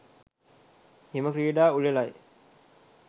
හිම ක්‍රීඩා උළෙලයි.